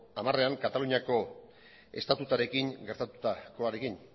hamarean kataluniako estatutuarekin gertatutakoarekin